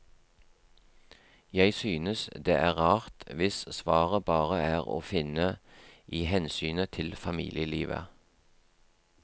Jeg synes det er rart hvis svaret bare er å finne i hensynet til familielivet.